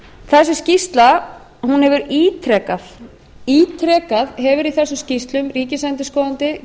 þessi skýrsla hefur ítrekað ítrekað hefur í þessum skýrslum ríkisendurskoðandi